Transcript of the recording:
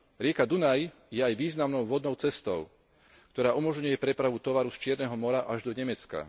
Rieka Dunaj je aj významnou vodnou cestou, ktorá umožňuje prepravu tovaru z Čierneho mora až do Nemecka.